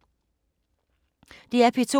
DR P2